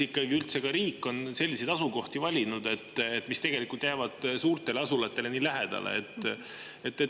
Miks üldse on riik sellised asukohad valinud, mis jäävad suurtele asulatele nii lähedale?